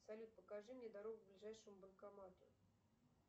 салют покажи мне дорогу к ближайшему банкомату